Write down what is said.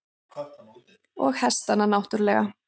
Og hestana náttúrlega.